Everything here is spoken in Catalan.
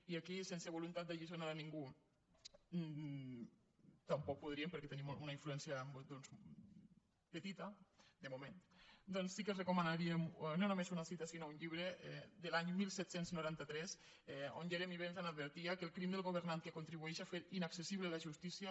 i aquí sense voluntat d’alliçonar a ningú tampoc podríem perquè tenim una influència doncs petita de moment doncs sí que els recomanaríem no només una cita sinó un llibre de l’any disset noranta tres on jeremy bentham advertia que el crim del governant que contribueix a fer inaccessible la justícia